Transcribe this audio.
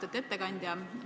Austatud ettekandja!